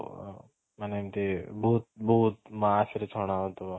ମାନେ ଏମିତି ବହୁତ ବହୁତ mass ରେ ଛଣା ହଉଥିବ